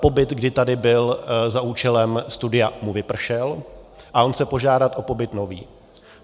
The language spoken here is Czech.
Pobyt, kdy tady byl za účelem studia, mu vypršel a on chce požádat o pobyt nový.